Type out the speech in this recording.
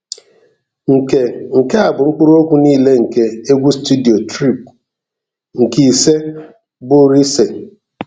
Nke Nke a bụ mkpụrụokwu niile nke egwu studio Trip nke ise bụ Rise.